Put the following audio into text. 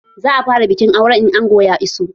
Za a fara bikin auren in angon ya iso